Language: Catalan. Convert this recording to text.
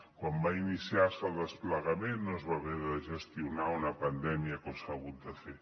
quan va iniciar se el desplegament no es va haver de gestionar una pandèmia com s’ha hagut de fer